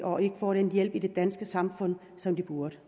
og ikke får den hjælp i det danske samfund som de burde